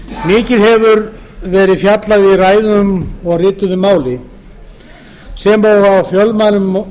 mikið hefur verið fjallað í ræðum og rituðu máli sem og